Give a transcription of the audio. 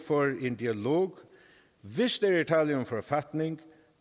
for en dialog hvis der er tale om en forfatning